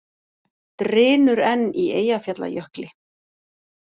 Drynur enn í Eyjafjallajökli